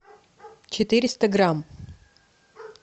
четыреста грамм